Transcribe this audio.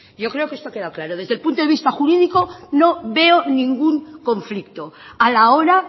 yo creo que esto ha quedado claro desde el punto de vista jurídico no veo ningún conflicto a la hora